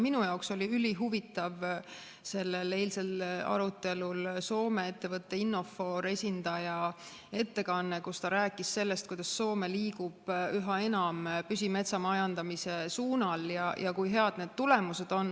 Minu jaoks oli ülihuvitav sellel eilsel arutelul Soome ettevõtte Innofor esindaja ettekanne, kus ta rääkis sellest, kuidas Soome liigub üha enam püsimetsa majandamise suunal ja kui head need tulemused on.